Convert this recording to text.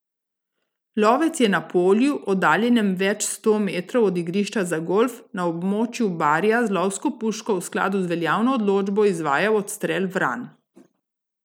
Lovec je na polju, oddaljenem več sto metrov od igrišča za golf na območju Barja z lovsko puško v skladu z veljavno odločbo izvajal odstrel vran.